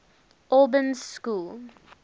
albans school